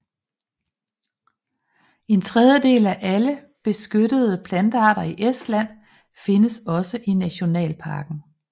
En tredjedel af alle beskyttede plantearter i Estland findes også i nationalparken